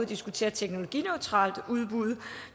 diskutere teknologineutrale udbud